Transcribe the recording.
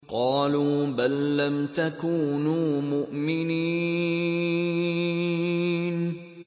قَالُوا بَل لَّمْ تَكُونُوا مُؤْمِنِينَ